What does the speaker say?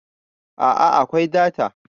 a a akwai data